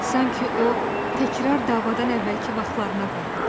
Sanki o, təkrar davadan əvvəlki vaxtlarına qayıdıb.